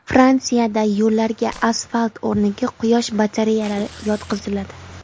Fransiyada yo‘llarga asfalt o‘rniga quyosh batareyalari yotqiziladi.